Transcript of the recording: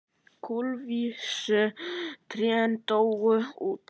Kulvísu trén dóu út.